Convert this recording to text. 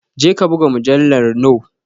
Jeka buga mujallar noe